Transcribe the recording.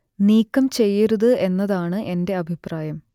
നീക്കം ചെയ്യരുത് എന്നതാണ് എന്റെ അഭിപ്രായം